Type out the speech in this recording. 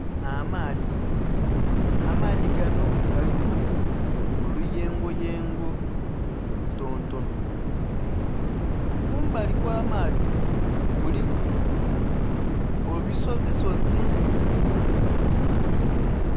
Amaadhi, amaadhi ganho galiku oluyengo yengo olu tontonho, kumbali kwa maadhi kuliku ebisozisozi